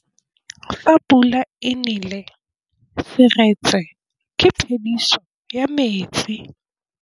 Fa pula e nelê serêtsê ke phêdisô ya metsi.